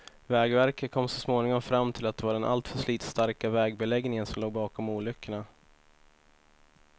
Vägverket kom så småningom fram till att det var den alltför slitstarka vägbeläggningen som låg bakom olyckorna.